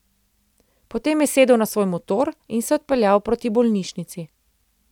Potem je sedel na svoj motor in se odpeljal proti bolnišnici.